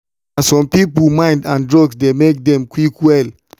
na some people mind and drugs dey make them quick well.